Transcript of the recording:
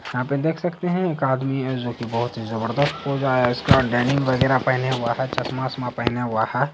यहां पे देख सकते हैं एक आदमी है जो की बोहोत ही जबरदस्त पोज़ आया है इसका डेनिम वगैरा पेहेने हुआ है चश्मा-वसमा पेहेने हुआ है।